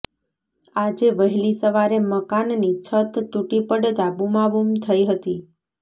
આજે વહેલી સવારે મકાનની છત તુટી પડતા બુમાબુમ થઇ હતી